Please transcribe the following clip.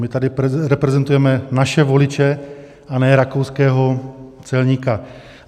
My tady reprezentujeme naše voliče a ne rakouského celníka.